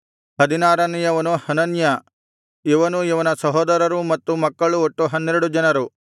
ಹದಿನಾರನೆಯವನು Hananiah ಇವನೂ ಇವನ ಸಹೋದರರೂ ಮತ್ತು ಮಕ್ಕಳು ಒಟ್ಟು ಹನ್ನೆರಡು ಜನರು